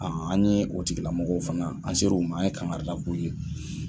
an ɲe o tigila mɔgɔw fana, an ser'u ma an ɲe kangarida k'u ye